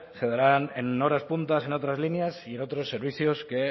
se darán en horas punta en otras líneas y en otros servicios que